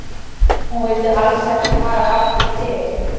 Hún vildi alls ekki fara aftur til